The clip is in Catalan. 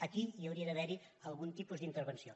aquí hi hauria d’haver algun tipus d’intervenció